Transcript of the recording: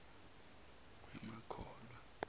wee ma khohlwa